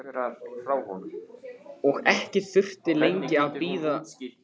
Og ekki þurfti lengi að bíða.